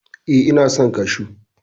E, ina son kashu.